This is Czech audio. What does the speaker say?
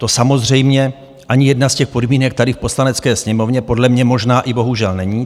To samozřejmě ani jedna z těch podmínek tady v Poslanecké sněmovně, podle mě možná i bohužel, není.